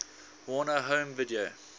warner home video